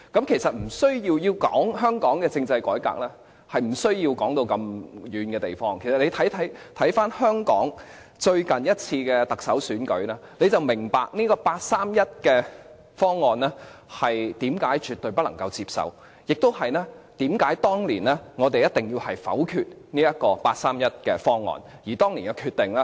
其實要討論香港政制改革是無需提到那麼遠的地方，其實大家只需看回香港最近一次的特首選舉，便明白八三一方案為何絕對不能接受，以及為何我們當年一定要否決八三一方案。